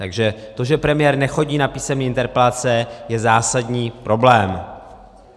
Takže to, že premiér nechodí na písemné interpelace, je zásadní problém.